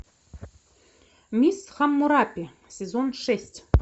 мисс хаммурапи сезон шесть